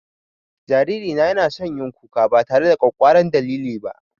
Jariri na ya na son yin kuka ba tare da ƙwakkwaran dalili ba